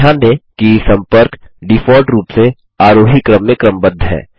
ध्यान दें कि सम्पर्क डिफ़ॉल्ट रूप से आरोही क्रम में क्रमबद्ध हैं